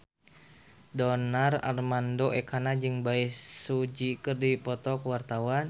Donar Armando Ekana jeung Bae Su Ji keur dipoto ku wartawan